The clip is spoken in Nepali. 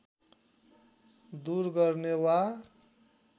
दुर गर्ने वा